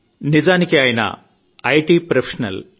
నిజానికి ఆయన IT professional